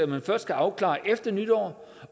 man først kan afklare efter nytår